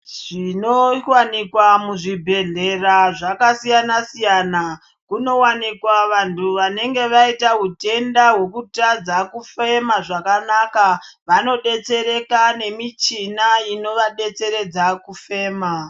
Zvinowanikwa muzvibhehlera zvakasiyana siyana, kunowanikwa vanhu vanenge vaita hutenda hwekutadza kufema zvakanaka vanodetsereka nemichina inovadetsera kufema.